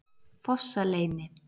Fossaleyni